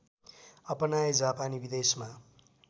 अपनाए जापानी विदेशमा